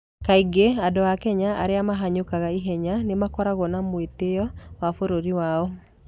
Kaingĩ andũ a Kenya arĩa mahanyũkaga ihenya nĩ makoragwo na mwĩtĩo wa bũrũri wao.